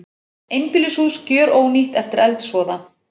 Einbýlishús gjörónýtt eftir eldsvoða